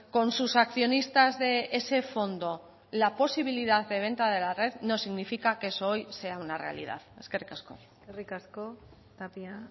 con sus accionistas de ese fondo la posibilidad de venta de la red no significa que eso hoy sea una realidad eskerrik asko eskerrik asko tapia